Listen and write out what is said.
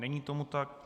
Není tomu tak.